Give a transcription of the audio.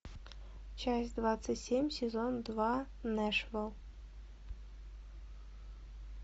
часть двадцать семь сезон два нэшвилл